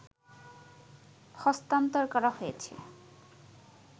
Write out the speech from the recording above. হস্তান্তর করা হয়েছে